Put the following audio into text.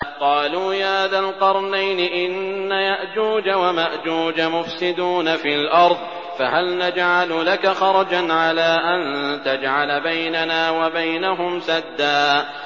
قَالُوا يَا ذَا الْقَرْنَيْنِ إِنَّ يَأْجُوجَ وَمَأْجُوجَ مُفْسِدُونَ فِي الْأَرْضِ فَهَلْ نَجْعَلُ لَكَ خَرْجًا عَلَىٰ أَن تَجْعَلَ بَيْنَنَا وَبَيْنَهُمْ سَدًّا